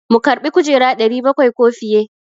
Mu karbi kujera 700 ko fiye?